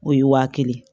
O ye waa kelen ye